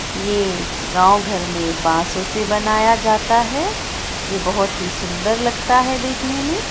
ये गाँव घर में बसों से बनाया जाता है ये बहुत ही सुंदर लगता है देखने में।